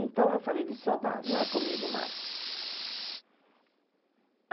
Então, eu falei, licionar, não é comigo mais.